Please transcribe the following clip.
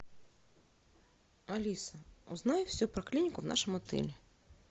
алиса узнай все про клинику в нашем отеле